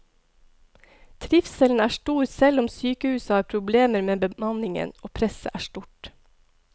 Trivselen er stor selv om sykehuset har problemer med bemanningen og presset er stort.